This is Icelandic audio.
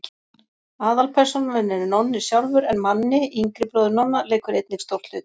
Aðalpersónan er Nonni sjálfur en Manni, yngri bróðir Nonna, leikur einnig stórt hlutverk.